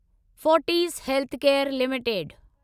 Fortis healthcare limited